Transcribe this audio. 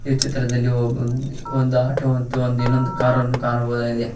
ಈ ಚಿತ್ರದಲ್ಲಿ ಒ ಒಂದು ಆಟೋ ಮತ್ತು ಇನ್ನೊಂದು ಕಾರನ್ನು ಕಾಣಬಹುದಾಗಿದೆ.